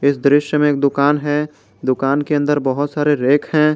इस दृश्य में एक दुकान है दुकान के अंदर बहुत सारे रैक हैं।